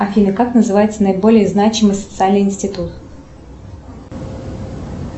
афина как называется наиболее значимый социальный институт